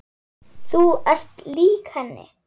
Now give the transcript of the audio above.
Þú ert lík henni.